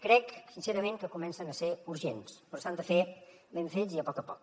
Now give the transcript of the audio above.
crec sincerament que comencen a ser urgents però s’han de fer ben fets i a poc a poc